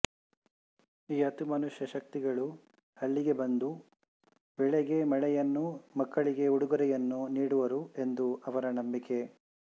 ಈ ಅತಿಮಾನುಷ ಶಕ್ತಿಗಳು ಹಳ್ಳಿಗೆ ಬಂದು ಬೆಳೆಗೆ ಮಳೆಯನ್ನೂ ಮಕ್ಕಳಿಗೆ ಉಡುಗೊರೆಯನ್ನೂ ನೀಡುವರು ಎಂದು ಅವರ ನಂಬಿಕೆ